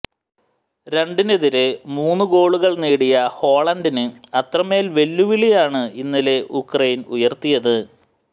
രണ്ടിനെതിരെ മൂന്ന് ഗോളുകൾ നേടിയ ഹോളണ്ടിന് അത്രമേൽ വെല്ലുവിളിയാണ് ഇന്നലെ ഉക്രൈൻ ഉയർത്തിയത്